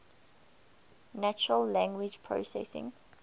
natural language processing